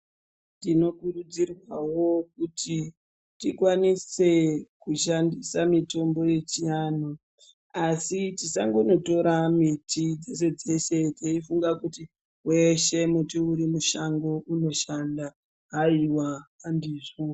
Tinokurudzirwawo kuti tishatisewo mitombo yechianhutinokurudzirwawo kuti tishandise mitombo yechianhu ASI yisanhonoyora miti yeshe yeshe teifunga kuti miti yeshe irimushango inoshanda haiwa handizvo